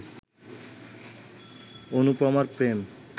অনুপমার প্রেম